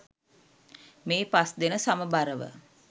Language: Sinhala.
මේ පස් දෙන සමබරව